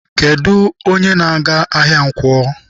Kedụ onye na-aga ahịa nkwo?